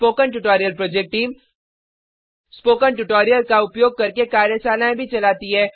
spoken tutorial project team spoken tutorial का उपयोग करके कार्यशालाएँ भी चलाती है